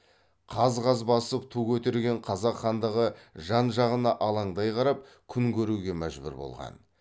қаз қаз басып ту көтерген қазақ хандығы жан жағына алаңдай қарап күн көруге мәжбүр болған